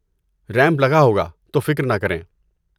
Ramp لگا ہوگا، تو فکر نہ کریں۔